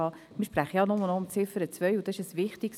Wir sprechen ja nur noch über den Punkt 2.